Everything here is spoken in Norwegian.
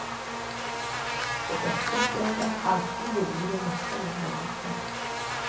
Og dette stedet er alltid livlig med masse unge mennesker.